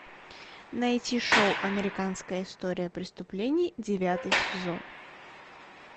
найти шоу американская история преступлений девятый сезон